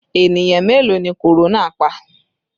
Ènìyàn mélòó ni korona pa?